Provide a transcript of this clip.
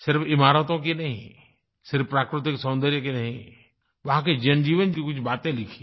सिर्फ़ इमारतों की नहीं सिर्फ़ प्राकृतिक सौन्दर्य की नहीं वहाँ के जनजीवन की कुछ बातें लिखिए